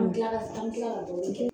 An bɛ tila an bɛ kila ka dɔwɛrɛ kɛ.